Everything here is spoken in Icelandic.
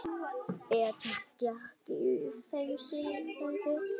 Betur gekk í þeim síðari.